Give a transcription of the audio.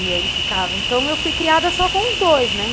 E aí ele ficava, então eu fui criada só com os dois, né.